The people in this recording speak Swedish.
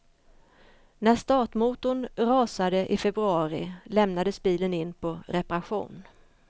När startmotorn rasade i februari lämnades bilen in på reparation.